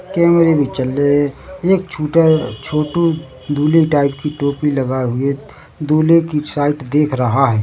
कैमरे भी चल रहे है एक छोटा छोटू दूल्हे टाइप की टोपी लगाए हुए दूल्हे की साइड देख रहा है।